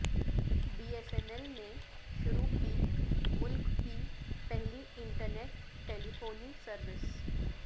be S N L نے شروع کی ملک کی پہلی انٹرنیٹ ٹیلی فونی سروس